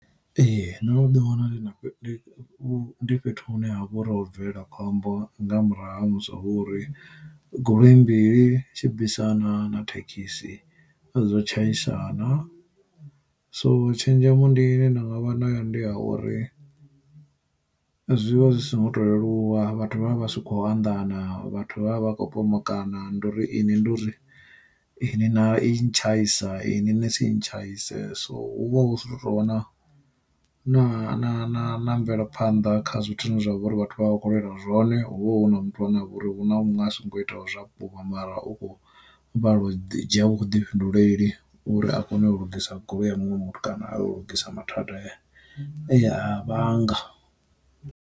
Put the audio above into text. Ee ndo no ḓi wana ndi na fhe ndi fhethu hune ha vha uri ho bvelela khombo nga murahu ha musi a vha uri, goloi mbili tshibisana na thekhisi zwo tshaisana. So tshenzhemo ndi ine nda vha nayo ndi ya uri zwivha zwi si ngo to leluwa vhathu vha vha vha si kho anḓana, vhathu vha vha vha khou pomokana ndo uri ini ndi uri ini na i ntshaisa ini nisintshaise. So hu vha hu zwi tou wana na mvelaphanḓa kha zwithu zwine zwavha uri vhathu vha vha kho lwelwa zwone hovha hu na muthu ane avha uri hu na munwe asongo itaho zwa vhukuma mara u khou balelwa u dzhia vhuḓifhinduleli uri a kone u lugisa goloi ya muṅwe muthu kana a u lugudisa mathada e ya vhanga.